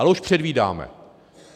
A už předvídáme.